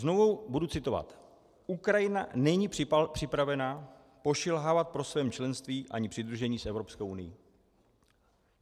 Znovu budu citovat: "Ukrajina není připravena pošilhávat po svém členství ani přidružení s Evropskou unií."